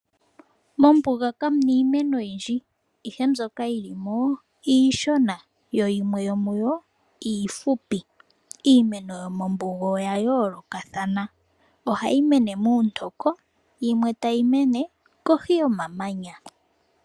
Mombuga kamuna iimeno oyindji, ihe mbyoka yili mo, iishona yo yimwe yomuyo iifupi. Iimeno yomombuga oya yoolokathana. Ohayi mene muuntoko, yimwe tayi mene kohi yomamanya.